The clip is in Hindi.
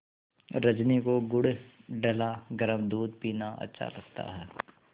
रजनी को गुड़ डला गरम दूध पीना अच्छा लगता है